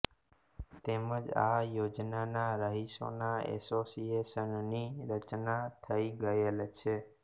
તેમજ આ યોજનાના રહીશોના એસોસિએશનની રચના થઈ ગયેલ છે